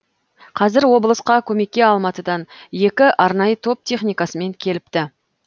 қазір облысқа көмекке алматыдан екі арнайы топ техникасымен келіпті